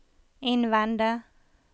innvende